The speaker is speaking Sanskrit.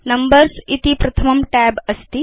नंबर्स् इति प्रथमं tab अस्ति